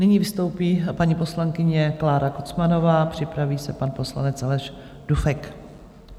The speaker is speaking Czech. Nyní vystoupí paní poslankyně Klára Kocmanová, připraví se pan poslanec Aleš Dufek.